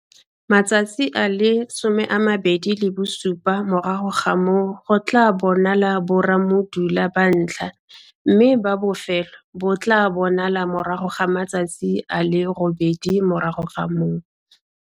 Matsatsi a le 27 morago ga moo go tlaa bonalwa borammudula ba ntlha, mme ba bofelo bo tlaa bonala morago ga matsatsi a le robedi morago ga moo.